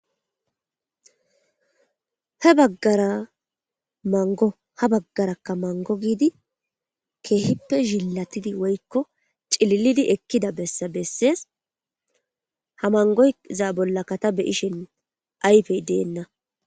He baggara mango ha baggaraka mango giidi kehippe zhiilatidi woykko cililidi ekida bessa besees ha mangoza bollaka ta be'ishin ayfey deena.